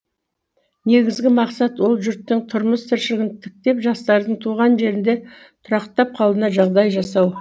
негізігі мақсат ел жұрттың тұрмыс тіршілігін тіктеп жастардың туған жерінде тұрақтап қалуына жағдай жасау